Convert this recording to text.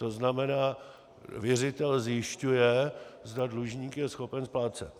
To znamená, věřitel zjišťuje, zda dlužník je schopen splácet.